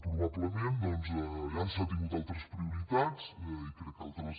probablement doncs s’han tingut altres prioritats i crec que altres